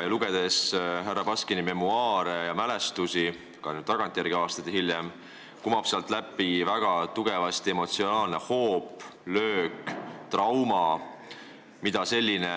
Kui lugeda härra Baskini mälestusi nüüd, aastaid hiljem, siis kumab sealt väga tugevasti läbi emotsionaalne hoop, löök, trauma, mida selline